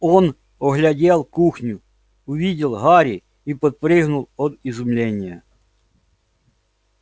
он оглядел кухню увидел гарри и подпрыгнул от изумления